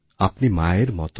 আপনি মায়ের মত